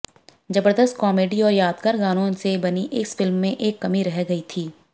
जबरदस्त कॉमेडी और यादगार गानों से बनी इस फिल्म में एक कमी रह गई थी